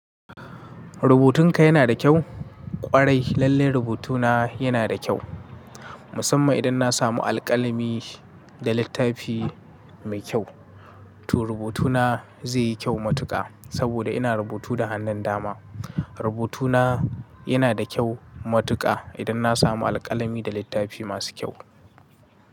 Rubutun ka yana da kyau? Ƙwarai lalle rubutuna yana da kyau. Musamman idan na samu alƙalami da littafi mai kyau. To rubutuna zai yi kyau matuƙa saboda ina rubutu da hannun dama. Rubutuna yana da kyau matuƙa idan na samu alƙalami da littafi masu kyau.